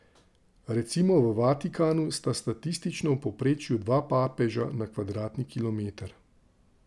Recimo v Vatikanu sta statistično v povprečju dva papeža na kvadratni kilometer.